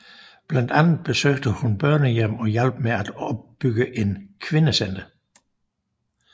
Blandt andet besøgte hun børnehjem og hjalp med at opbygge en kvindecenter